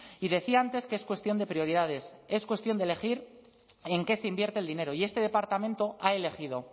y decía antes que es cuestión de prioridades es cuestión de elegir en qué se invierte el dinero y este departamento ha elegido